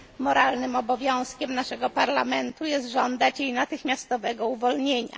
Moralnym obowiązkiem naszego Parlamentu jest żądać jej natychmiastowego uwolnienia.